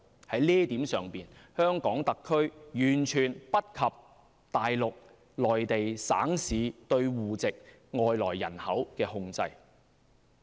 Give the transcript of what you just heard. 在這一點上，香港特區完全不及內地省市對外來人口戶籍的控制。